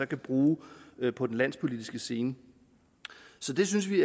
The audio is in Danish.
kan bruge på den landspolitiske scene så det synes vi